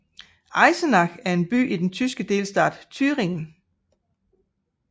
Eisenach er en by i den tyske delstat Thüringen